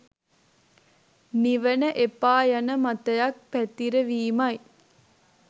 නිවන එපා යන මතයක් පැතිරවීමයි